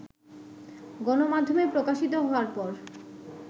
গণমাধ্যমে প্রকাশিত হওয়ার পর